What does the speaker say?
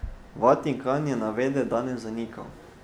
Vatikan je navedbe danes zanikal.